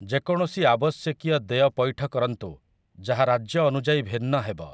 ଯେକୌଣସି ଆବଶ୍ୟକୀୟ ଦେୟ ପୈଠ କରନ୍ତୁ, ଯାହା ରାଜ୍ୟ ଅନୁଯାୟୀ ଭିନ୍ନ ହେବ ।